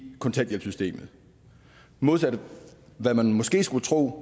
kontanthjælpssystemet modsat hvad man måske skulle tro